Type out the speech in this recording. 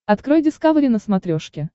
открой дискавери на смотрешке